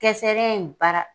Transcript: Kɛsɛrɛ in baara